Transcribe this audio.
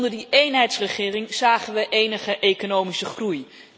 Onder die eenheidsregering zagen we enige economische groei.